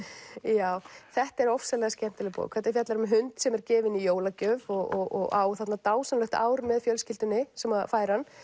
já þetta er ofsalega skemmtileg bók þetta fjallar um hund sem er gefinn í jólagjöf og á þarna dásamlegt ár með fjölskyldunni sem að fær hann